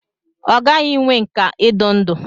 Ọ ghaghị inwe nkà idu ndú.